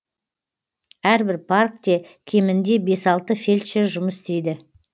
әрбір паркте кемінде бес алты фельдшер жұмыс істейді